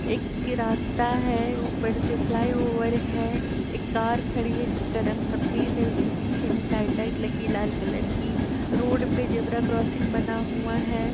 एक के रास्ता है। ऊपर से फ्लाईओवर है। एक कार खड़ी है जिसका रंग सफेद है। उसके पीछे में साइड लाइट लगी है लाल कलर की। रोड पे जेबरा क्रॉसिंग बना हुआ है।